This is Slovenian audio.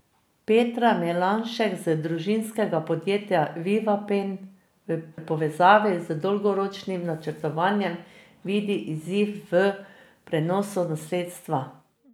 Petra Melanšek iz družinskega podjetja Vivapen v povezavi z dolgoročnim načrtovanjem vidi izziv v prenosu nasledstva.